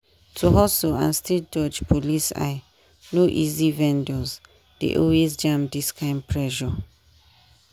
to hustle and still dodge police eye no easy vendors dey always jam this kind pressure.